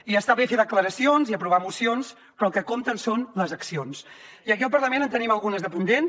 i està bé fer declaracions i aprovar mocions però el que compten són les accions i aquí al parlament en tenim algunes de pendents